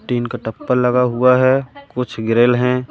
Tin का टप्पल लगा हुआ है कुछ ग्रिल है।